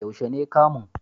Yaushe ne kamun?